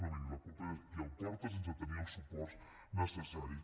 no miri la culpa és de qui el porta sense tenir els suports necessaris